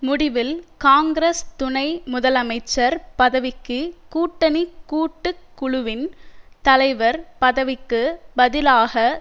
முடிவில் காங்கிரஸ் துணை முதலமைச்சர் பதவிக்கு கூட்டணி கூட்டு குழுவின் தலைவர் பதவிக்கு பதிலாக